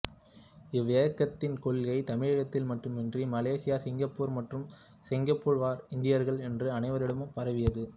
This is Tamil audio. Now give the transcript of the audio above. இவ்வியக்கத்தின் கொள்கை தமிழகத்தில் மட்டுமின்றி மலேசியா சிங்கப்பூர் மற்றும் சிங்கப்பூர் வாழ் இந்தியர்கள் என்று அனைவரிடமும் பரவியது